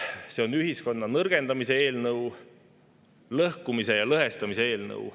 See on ühiskonna nõrgendamise eelnõu, lõhkumise ja lõhestamise eelnõu.